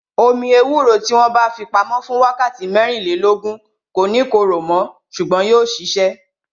Omi ewúro tí wọn bá fi pamo fún wákàtí mẹ́rìnlélógún, kò ní korò mo ṣùgbọ́n yóò sisẹ